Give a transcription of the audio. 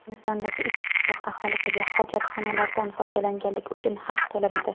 Hindistondagi ikki qishloq aholisiga hojatxonalardan foydalanganlik uchun haq to‘lanadi.